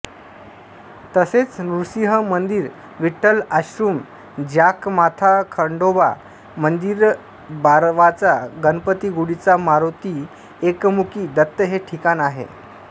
तसेच नृसीह मंदिर विठ्ठल आशृम जाखमाथाखंढोबा मंदिरबारवाचा गणपतीगूढिचा मारोती एकमूखी दत्त हे ठिकाण आहे